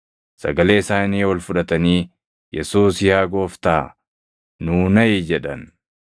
sagalee isaanii ol fudhatanii, “Yesuus yaa Gooftaa, nuu naʼi!” jedhan.